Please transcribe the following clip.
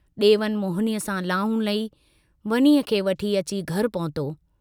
डेवन मोहिनीअ सां लाऊं लही, वनीअ खे वठी अची घर पहुतो।